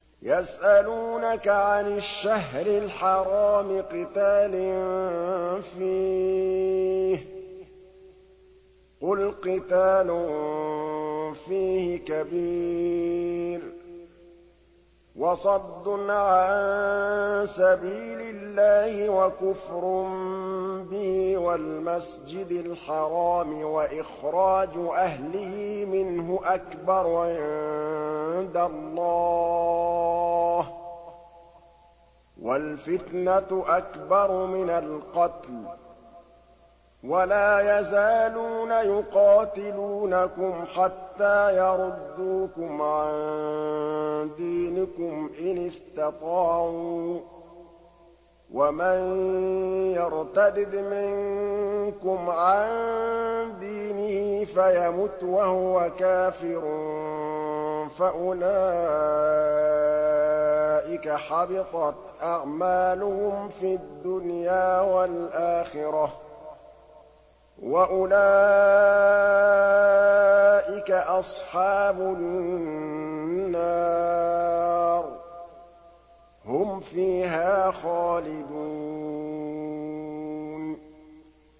يَسْأَلُونَكَ عَنِ الشَّهْرِ الْحَرَامِ قِتَالٍ فِيهِ ۖ قُلْ قِتَالٌ فِيهِ كَبِيرٌ ۖ وَصَدٌّ عَن سَبِيلِ اللَّهِ وَكُفْرٌ بِهِ وَالْمَسْجِدِ الْحَرَامِ وَإِخْرَاجُ أَهْلِهِ مِنْهُ أَكْبَرُ عِندَ اللَّهِ ۚ وَالْفِتْنَةُ أَكْبَرُ مِنَ الْقَتْلِ ۗ وَلَا يَزَالُونَ يُقَاتِلُونَكُمْ حَتَّىٰ يَرُدُّوكُمْ عَن دِينِكُمْ إِنِ اسْتَطَاعُوا ۚ وَمَن يَرْتَدِدْ مِنكُمْ عَن دِينِهِ فَيَمُتْ وَهُوَ كَافِرٌ فَأُولَٰئِكَ حَبِطَتْ أَعْمَالُهُمْ فِي الدُّنْيَا وَالْآخِرَةِ ۖ وَأُولَٰئِكَ أَصْحَابُ النَّارِ ۖ هُمْ فِيهَا خَالِدُونَ